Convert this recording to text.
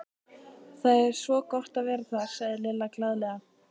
Það er svo gott að vera þar, sagði Lilla glaðlega.